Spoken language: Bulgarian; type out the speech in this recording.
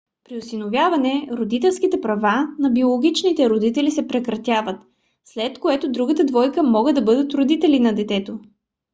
при осиновяване родителските права на биологичните родители се прекратяват след което другата двойка могат да бъдат родители на детето